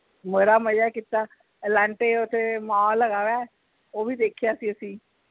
ਬੜਾ ਮਜ਼ਾ ਕੀਤਾ elante ਓਥੇ mall ਹੇਗਾ ਵਾ ਉਹ ਵੀ ਦੇਖਿਆ ਅਸੀਂ